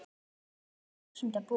Algjör dásemd að búa hérna.